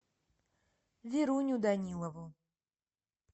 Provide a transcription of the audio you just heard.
веруню данилову